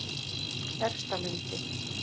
Efstalundi